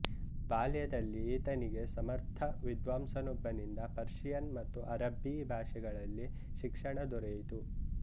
ಬಾಲ್ಯದಲ್ಲಿ ಈತನಿಗೆ ಸಮರ್ಥ ವಿದ್ವಾಂಸನೊಬ್ಬನಿಂದ ಪರ್ಷಿಯನ್ ಮತ್ತು ಅರಬ್ಬೀ ಭಾಷೆಗಳಲ್ಲಿ ಶಿಕ್ಷಣ ದೊರೆಯಿತು